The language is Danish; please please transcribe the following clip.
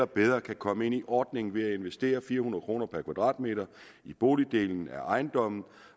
bedre kan komme ind i ordningen ved at investere fire hundrede kroner per kvadratmeter i boligdelen af ejendommen